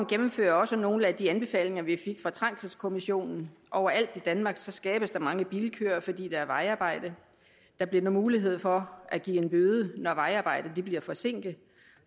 gennemfører også nogle af de anbefalinger vi fik fra trængselskommissionen overalt i danmark skabes der mange bilkøer fordi der er vejarbejde der bliver nu mulighed for at give en bøde når vejarbejde bliver forsinket